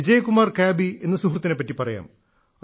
വിജയ്കുമാർ കാബി എന്ന സുഹൃത്തിനെപ്പറ്റി പറയാം